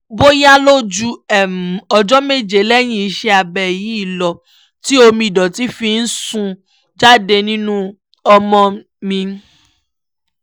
bóyá ló ju ọjọ́ méje lẹ́yìn iṣẹ́ abẹ yìí lọ tí omi ìdọ̀tí fi ń sun jáde nínú ọmọ mi